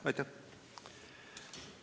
Aitäh!